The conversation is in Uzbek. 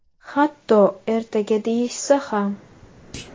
Hatto ertaga deyishsa ham.